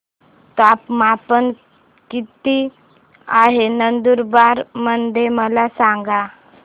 तापमान किता आहे नंदुरबार मध्ये मला सांगा